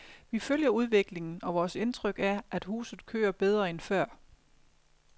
Vi følger udviklingen, og vores indtryk er, at huset kører bedre end før.